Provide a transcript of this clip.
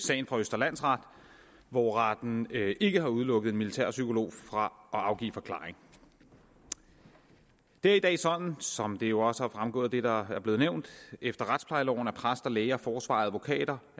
sagen fra østre landsret hvor retten ikke har udelukket en militærpsykolog fra at afgive forklaring det er i dag sådan som det jo også er fremgået af det der er blevet nævnt at efter retsplejeloven er præster læger forsvarere advokater